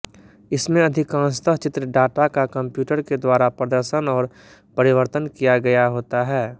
इनमें अधिकांशतः चित्र डाटा का कंप्यूटर के द्वारा प्रदर्शन और परिवर्तन किया गया होता है